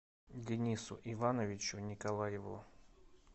денису ивановичу николаеву